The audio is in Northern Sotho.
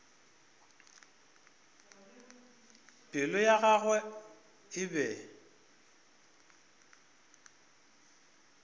pelo ya gagwe e be